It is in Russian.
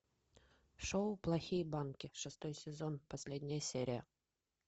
шоу плохие банки шестой сезон последняя серия